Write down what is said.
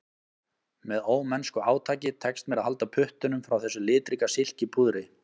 Með ómennsku átaki tekst mér að halda puttunum frá þessu litríka silkipúðri